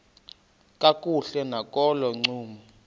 kakuhle nakolo ncumo